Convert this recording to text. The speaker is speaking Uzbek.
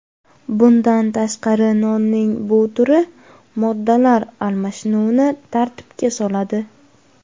Bundan tashqari nonning bu turi moddalar almashinuvini tartibga soladi.